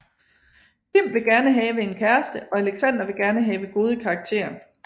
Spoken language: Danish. Tim vil gerne have en kæreste og Alexander vil gerne have gode karakterer